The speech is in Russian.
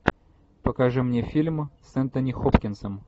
покажи мне фильм с энтони хопкинсом